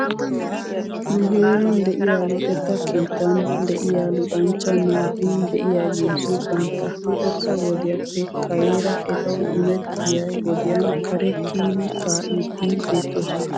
Nu heeran de'iyaa luxetta keettan de'iyaa luxanchcha naati de'iyaageeti bantta luxetta wodiyaappe kareera etaw imettiyaa wodiyan kare kiyidi kaa''iiddi beettoosona.